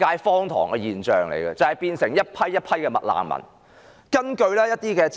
荒唐的是，一批又一批的"麥難民"因此"誕生"。